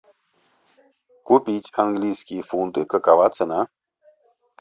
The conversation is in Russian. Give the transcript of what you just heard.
купить английские фунты какова цена